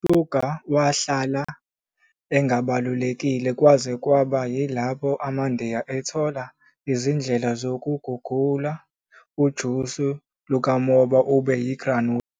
USugar wahlala engabalulekile kwaze kwaba yilapho amaNdiya ethola izindlela zokuguqula ujusi lukamoba ube yi-granula